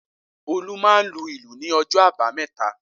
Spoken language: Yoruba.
Olú máa lu ìlù ní ọjọ́ àbámẹ́ta